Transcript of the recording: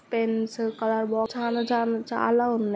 Pens colour box చాల-చాల-చాలా ఉన్నాయి.